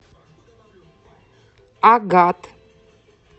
агат